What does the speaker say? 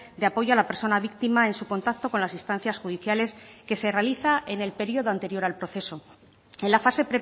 de apoyo a la persona víctima en su contacto con las instancias judiciales que se realiza en el periodo anterior al proceso en la fase